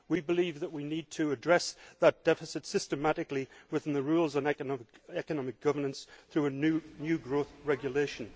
We believe that we need to address that deficit systematically within the rules on economic governance through a new growth regulation.